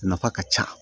Nafa ka ca